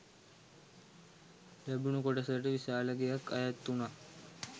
ලැබුණු කොටසට විශාල ගෙයක් අයත් වුණා.